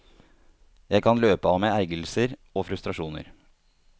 Jeg kan løpe av meg ergrelser og frustrasjoner.